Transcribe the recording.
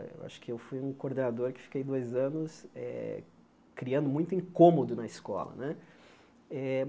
Eh eu acho que eu fui um coordenador que fiquei dois anos eh criando muito incômodo na escola né. Eh